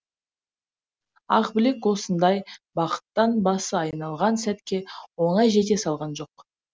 ақбілек осындай бақыттан басы айналған сәтке оңай жете салған жоқ